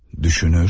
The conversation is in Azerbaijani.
Düşünür.